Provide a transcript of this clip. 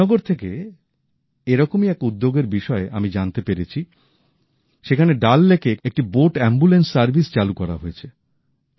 শ্রীনগর থেকে এরকমই এক উদ্যোগের বিষয়ে আমি জানতে পেরেছি সেখানে ডাল লেকে একটি বোট আম্বুলেন্স সার্ভিস চালু করা হয়েছে